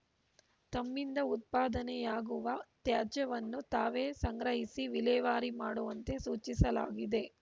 ತಮ್ಮಿಂದ ಉತ್ಪಾದನೆಯಗುವ ತ್ಯಾಜ್ಯವನ್ನು ತಾವೇ ಸಂಗ್ರಹಿಸಿ ವಿಲೇವಾರಿ ಮಾಡುವಂತೆ ಸೂಚಿಸಲಾಗಿದೆ